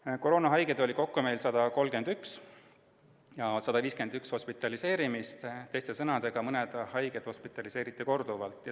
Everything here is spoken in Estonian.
Meil oli koroonahaigeid kokku 131 ja hospitaliseerimise juhte 151, teiste sõnadega, mõned haiged hospitaliseeriti korduvalt.